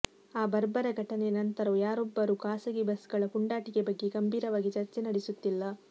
ಆ ಬರ್ಬರ ಘಟನೆಯ ನಂತರವೂ ಯಾರೊಬ್ಬರೂ ಖಾಸಗಿ ಬಸ್ಗಳ ಪುಂಡಾಟಿಕೆ ಬಗ್ಗೆ ಗಂಭೀರವಾಗಿ ಚರ್ಚೆ ನಡೆಸುತ್ತಿಲ್ಲ